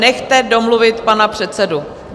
Nechte domluvit pana předsedu.